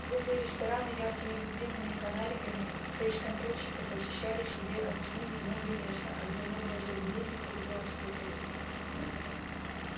клубы и рестораны яркими витринами и фонариками фейсконтрольщиков очищали себе от тьмы немного места а где не было заведений хоть глаз выколи